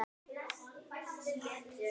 Að ég er komin heim.